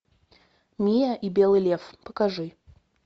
мия и белый лев покажи